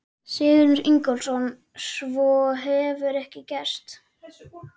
Sigurður Ingólfsson: Svo hefur ekkert gerst?